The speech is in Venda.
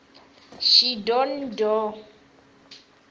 shidondho